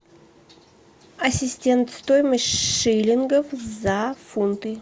ассистент стоимость шиллингов за фунты